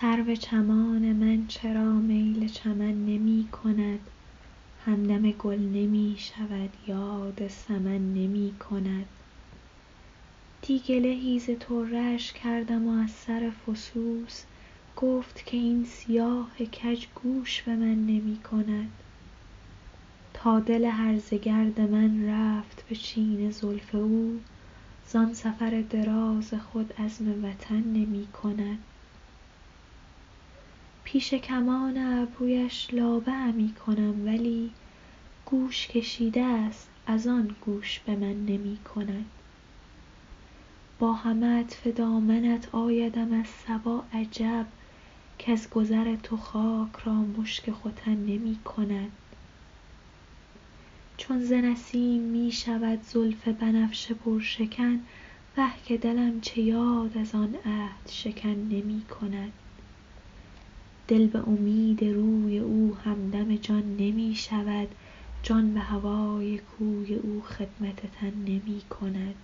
سرو چمان من چرا میل چمن نمی کند همدم گل نمی شود یاد سمن نمی کند دی گله ای ز طره اش کردم و از سر فسوس گفت که این سیاه کج گوش به من نمی کند تا دل هرزه گرد من رفت به چین زلف او زان سفر دراز خود عزم وطن نمی کند پیش کمان ابرویش لابه همی کنم ولی گوش کشیده است از آن گوش به من نمی کند با همه عطف دامنت آیدم از صبا عجب کز گذر تو خاک را مشک ختن نمی کند چون ز نسیم می شود زلف بنفشه پرشکن وه که دلم چه یاد از آن عهدشکن نمی کند دل به امید روی او همدم جان نمی شود جان به هوای کوی او خدمت تن نمی کند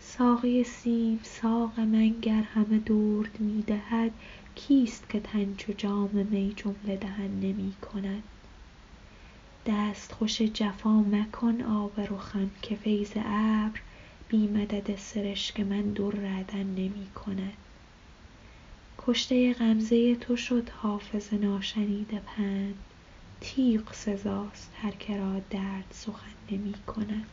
ساقی سیم ساق من گر همه درد می دهد کیست که تن چو جام می جمله دهن نمی کند دستخوش جفا مکن آب رخم که فیض ابر بی مدد سرشک من در عدن نمی کند کشته غمزه تو شد حافظ ناشنیده پند تیغ سزاست هر که را درد سخن نمی کند